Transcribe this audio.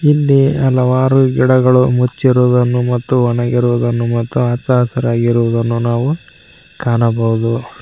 ಇಲ್ಲಿ ಹಲವಾರು ಗಿಡಗಳು ಮುಚ್ಚಿರುವುದನ್ನು ಮತ್ತು ಒಣಗಿರುವುದನ್ನು ಮತ್ತು ಅಚ್ಚು ಹಸಿರಾಗಿರುವುದನ್ನು ನಾವು ಕಾಣಬಹುದು.